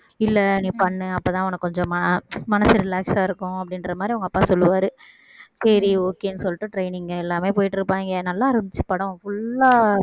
இல்ல நீ பண்ணு அப்பதான் உனக்கு கொஞ்சம் ம~ மனசு relax ஆ இருக்கும் அப்படின்றமாரி அவங்க அப்பா சொல்லுவாரு சரி okay ன்னு சொல்லிட்டு training எல்லாமே போயிட்டு இருப்பாயிங்க நல்லா இருந்துச்சு படம் full ஆ